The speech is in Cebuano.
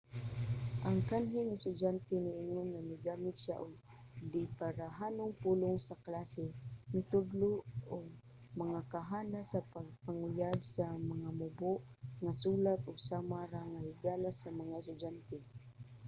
ang kanhing estudyante niingon nga 'migamit siya og dibarahanong pulong sa klase mitudlo og mga kahanas sa pagpanguyab sa mga mubo nga sulat ug sama ra nga higala sa mga estudyante.'